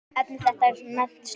Efni þetta er nefnt slátur.